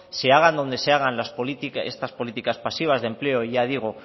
se hagan donde se hagan estas políticas pasivas de empleo ya digo